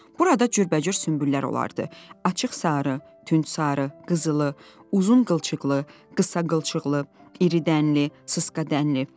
Burada cürbəcür sümbüllər olardı: açıq sarı, tünd sarı, qızılı, uzun qılçıqlı, qısa qılçıqlı, iridənli, sısžadənli.